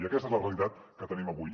i aquesta és la realitat que tenim avui